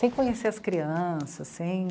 Sem conhecer as crianças, sem...